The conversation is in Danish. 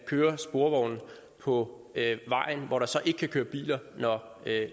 kører sporvogne på vejen hvor der så ikke kan køre biler når